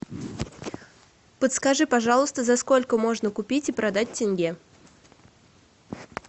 подскажи пожалуйста за сколько можно купить и продать тенге